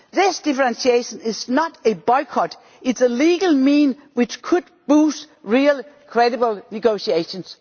This differentiation is not a boycott it is a legal means which could boost real credible negotiations.